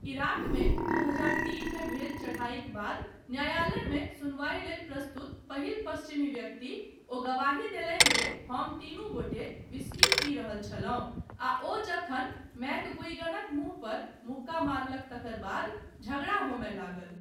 इराकमे दू हजार तीनमे भेल चढ़ाइक बाद न्यायालयमे सुनवाइ लेल प्रस्तुत पहिल पश्चिमी व्यक्ति, ओ गवाही देलनि जे हम तीनू गोटे व्हिस्की पी रहल छलहुँ आ ओ जखन मैकगुइगनक मुँह पर मुक्का मारलक तकर बाद झगड़ा होमय लागल।